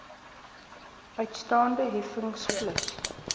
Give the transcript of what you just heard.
uitstaande heffings plus